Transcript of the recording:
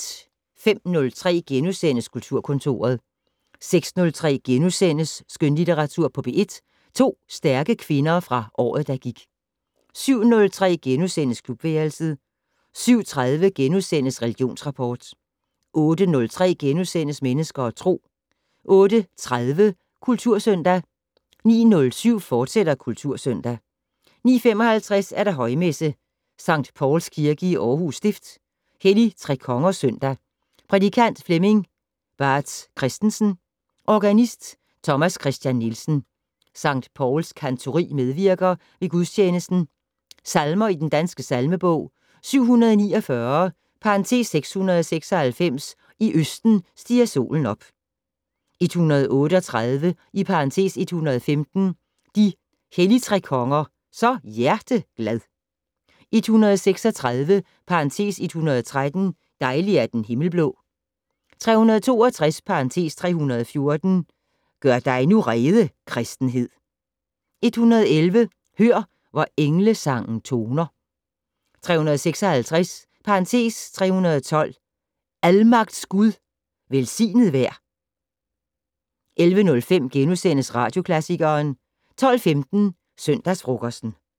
05:03: Kulturkontoret * 06:03: Skønlitteratur på P1 - To stærke kvinder fra året, der gik * 07:03: Klubværelset * 07:30: Religionsrapport * 08:03: Mennesker og Tro * 08:30: Kultursøndag 09:07: Kultursøndag, fortsat 09:55: Højmesse - Sct. Pauls Kirke, Aarhus Stift. Helligtrekongers søndag. Prædikant: Flemming Baatz Kristensen. Organist: Thomas Kristian Nielsen. Sct. Pauls Cantori medvirker ved gudstjenesten. Salmer i Den Danske Salmebog: 749 (696). "I østen stiger solen op".. 138 (115). "De Helligtrekonger så hjerteglad". 136 (113). "Dejlig er den himmelblå". 362 (314). "Gør dig nu rede, Kristenhed". 111 "Hør, hvor englesangen toner". 356 (312). "Almagts Gud, velsignet vær". 11:05: Radioklassikeren * 12:15: Søndagsfrokosten